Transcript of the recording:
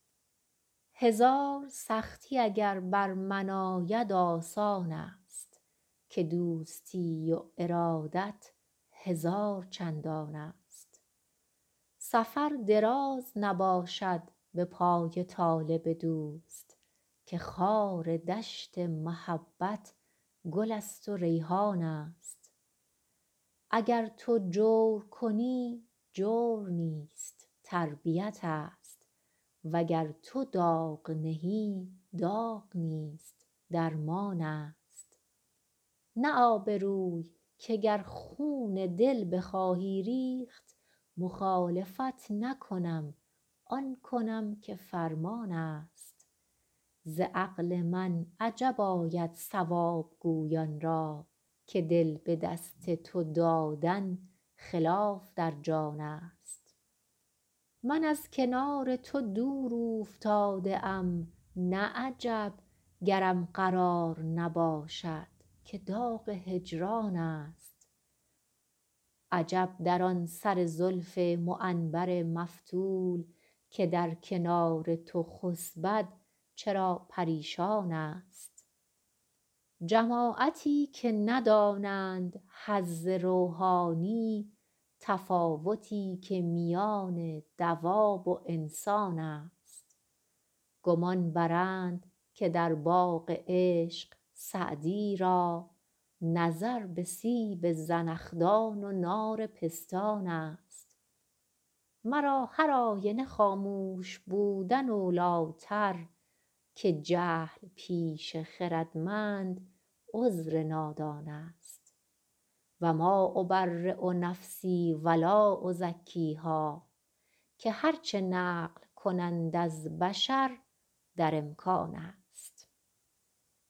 هزار سختی اگر بر من آید آسان است که دوستی و ارادت هزار چندان است سفر دراز نباشد به پای طالب دوست که خار دشت محبت گل است و ریحان است اگر تو جور کنی جور نیست تربیت ست وگر تو داغ نهی داغ نیست درمان است نه آبروی که گر خون دل بخواهی ریخت مخالفت نکنم آن کنم که فرمان است ز عقل من عجب آید صواب گویان را که دل به دست تو دادن خلاف در جان است من از کنار تو دور اوفتاده ام نه عجب گرم قرار نباشد که داغ هجران است عجب در آن سر زلف معنبر مفتول که در کنار تو خسبد چرا پریشان است جماعتی که ندانند حظ روحانی تفاوتی که میان دواب و انسان است گمان برند که در باغ عشق سعدی را نظر به سیب زنخدان و نار پستان است مرا هرآینه خاموش بودن اولی تر که جهل پیش خردمند عذر نادان است و ما أبری نفسی و لا أزکیها که هر چه نقل کنند از بشر در امکان است